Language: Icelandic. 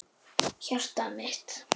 Hjartað mitt